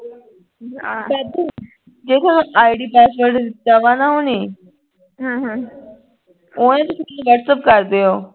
ਜੇ id password ਦਿੱਤਾ ਵ ਨਾ ਓਹਨੇ ਉਹ ਨਾ ਤੁਸੀਂ ਕੀ whatsapp ਕਰ ਦਿਓ